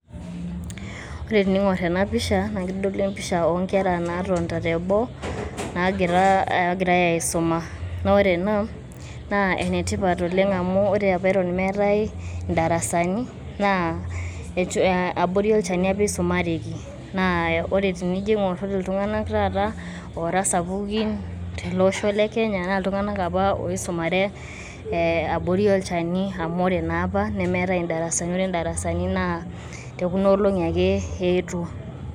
Ore teniing'orr ena pisha naa kitodolu empisha oo nkerra natonita teboo naagirai aisuma. Naa oore ena enetipat oleng' amu ore apa eton meetai indarasani naa abori olchani apa isumareki. Naa tenijo aing'orr ore iltung'anak taata ora sapukin tele osho le Kenya naa iltung'abak apa oisumare ee abori olchani amu ore naa apa nemeetai indarasani, ore indarasani naa tekuna olong'i ake eetuo.